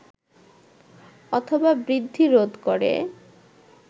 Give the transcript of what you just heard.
অথবা বৃদ্ধি রোধ করে